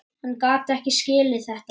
Hann gat ekki skilið þetta.